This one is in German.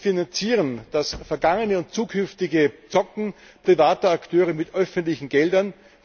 Wir finanzieren das vergangene und zukünftige Zocken privater Akteure mit öffentlichen Geldern.